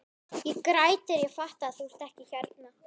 Ég græt þegar ég fatta að þú ert ekki hérna.